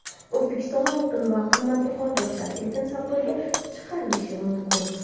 O‘zbekistonda oltin va qimmatbaho toshlar erkin savdoga chiqarilishi mumkin.